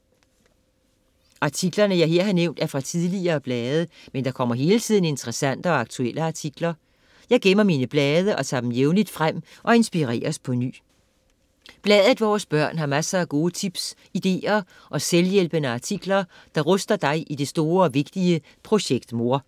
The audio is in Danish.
Artiklerne jeg her har nævnt er fra tidligere blade, men der kommer hele tiden interessante og aktuelle artikler. Jeg gemmer min blade og tager dem jævnligt frem og inspireres på ny. Bladet 'Vores Børn' har masser af gode tips, ideer og selvhjælpende artikler der ruster dig i det store og vigtige "Projekt Mor".